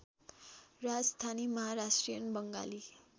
Rajasthani Maharashtrian Bengali